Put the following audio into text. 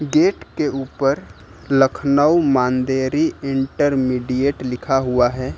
Gate के ऊपर लखनऊ मांदेरी इंटरमीडिएट लिखा हुआ है।